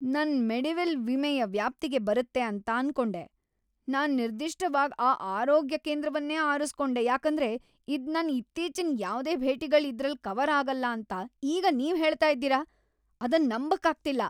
ನನ್ ಮೆಡಿವೆಲ್ ವಿಮೆಯ ವ್ಯಾಪ್ತಿಗೆ ಬರುತ್ತೆ ಅಂತ ಅನ್ಕೊಂಡೆ. ನಾನ್ ನಿರ್ದಿಷ್ಟವಾಗ್ ಈ ಆರೋಗ್ಯ ಕೇಂದ್ರವನ್ನೇ ಅರುಸ್ಕೊಂಡೆ ಯಾಕಂದ್ರೆ ಇದ್ ನನ್ ಇತ್ತೀಚಿನ ಯಾವ್ದೇ ಭೇಟಿಗಳ್ ಇದ್ರಲ್ ಕವರ್ ಆಗಲ್ಲ ಅಂತ ಈಗ ನೀವ್ ಹೇಳ್ತ ಇದ್ದೀರಾ ? ಅದನ್ ನಂಬಕ್ ಆಗ್ತಿಲ್ಲ!